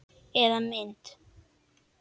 Eða mynd.